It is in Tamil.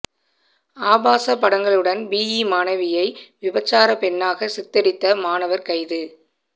ஆபாசப் படங்களுடன் பிஇ மாணவியை விபச்சாரப் பெண்ணாக சித்தரித்த மாணவர் கைது